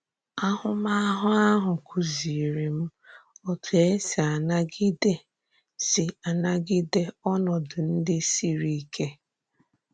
Àhụ̀mahụ̀ ahụ kùzìirì m òtù e si ànagìdè si ànagìdè ònòdù ndị sìrì íké.